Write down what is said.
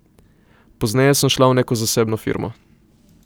Pozneje sem šla v neko zasebno firmo.